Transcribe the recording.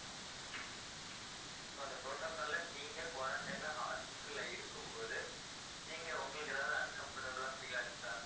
so அந்த protocol அ நீங்க quarantine ல hospital ல இருக்கும்போது நீங்க உங்களுக்கு ஏதாவது uncomfortable ஆ feel ஆச்சா